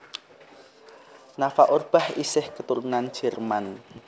Nafa Urbach isih keturunan Jerman